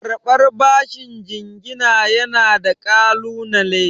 Karɓar bashin jingina yana da ƙalunale.